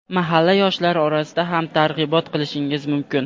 mahalla yoshlari orasida ham targ‘ibot qilishingiz mumkin.